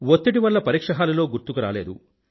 వత్తిడి వల్ల పరీక్షహాలులో గుర్తుకు రాలేదు